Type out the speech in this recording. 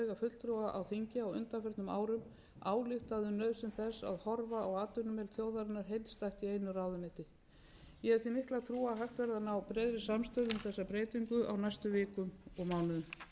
árum ályktað um nauðsyn þess að að horfa á atvinnu þjóðarinnar heildstætt í einu ráðuneyti ég hef því mikla trú á að hægt verði að ná breiðri samstöðu um þessa breytingu á næstu vikum og mánuðum virðulegi